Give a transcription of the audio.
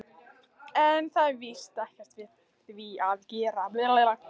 En það var víst ekkert við því að gera.